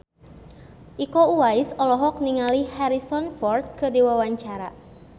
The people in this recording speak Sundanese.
Iko Uwais olohok ningali Harrison Ford keur diwawancara